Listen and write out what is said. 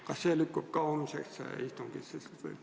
Kas see lükkub ka homsesse istungisse siis või?